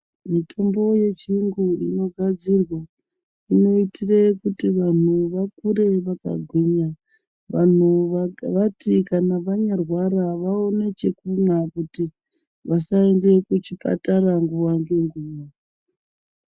Mitombo yechiyungu inogadzirwa inoitire kuti vantu vakure vakagwinya vantu vati kana vanyarwara vaone chekumwa kuti vasaende kuchipatata nguwa ngenguwa.